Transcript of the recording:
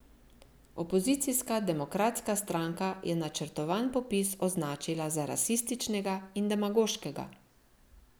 Opozicijska Demokratska stranka je načrtovan popis označila za rasističnega in demagoškega.